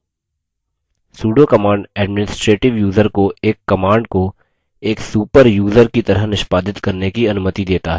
sudo command administrative user को एक command को एक super यूज़र की तरह निष्पादित करने की अनुमति देता है